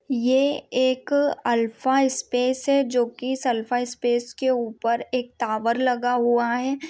ये एक अल्फास्पेस जो की सल्फास्पेस के उपर एक टावर लगा हुआ है।